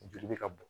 Joli bɛ ka bɔn